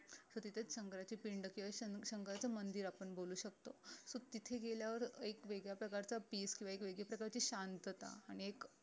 so तिथेच शंकराची पिंड किंवा शं शंकराची मंदिर आपण बोलू शकतो so तिथे गेल्यावर अं एक वेगळ्या प्रकारच peace किंवा एक वेगळी प्रकारची शांतता आणि एक